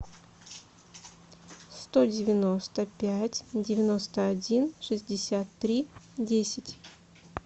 сто девяносто пять девяносто один шестьдесят три десять